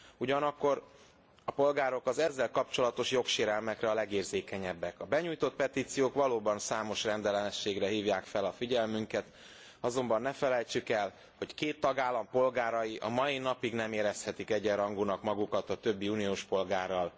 Ugyanakkor a polgárok az ezzel kapcsolatos jogsérelmekre a legérzékenyebbek. A benyújtott petíciók valóban számos rendellenességre hívják fel a figyelmünket, azonban ne felejtsük el, hogy két tagállam polgárai a mai napig nem érezhetik egyenrangúnak magukat a többi uniós polgárral.